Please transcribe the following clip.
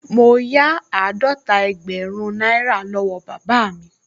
Mo yá àádọ́ta ẹgbẹ̀rún náírà lọ́wọ́ bàbá mi